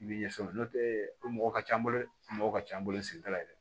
I b'i ɲɛsin o ma n'o tɛ o mɔgɔ ka ca an bolo mɔgɔ ka ca an bolo sigida la dɛ